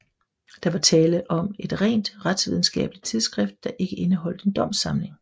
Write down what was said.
Der var tale om et rent retsvidenskabeligt tidsskrift der ikke indeholdte en domssamling